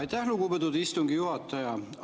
Aitäh, lugupeetud istungi juhataja!